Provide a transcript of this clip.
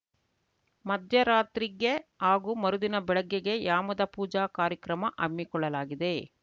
ಮಧ್ಯರಾತ್ರಿ ಗ್ಗೆ ಹಾಗೂ ಮರುದಿನ ಬೆಳಿಗ್ಗೆ ಗ್ಗೆ ಯಾಮದ ಪೂಜಾ ಕಾರ್ಯಕ್ರಮ ಹಮ್ಮಿಕೊಳ್ಳಲಾಗಿದೆ